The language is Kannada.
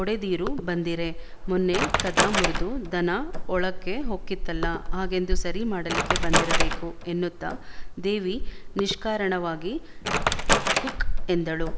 ಒಡೆದೀರು ಬಂದೀರೆ ಮೊನ್ನೆ ಕದಾ ಮುರ್ದು ದನಾ ಒಳಕ್ಕೆ ಹೊಕ್ಕಿತ್ತಲ್ಲ ಹಾಗೆಂದು ಸರಿ ಮಾಡಲಿಕ್ಕೆ ಬಂದಿರಬೇಕು ಎನ್ನುತ್ತ ದೇವಿ ನಿಷ್ಕಾರಣವಾಗಿ ಖುಕ್ ಎಂದಳು